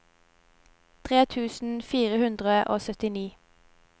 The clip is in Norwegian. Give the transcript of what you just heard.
tre tusen fire hundre og syttini